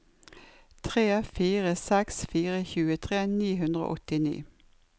tre fire seks fire tjuetre ni hundre og åttini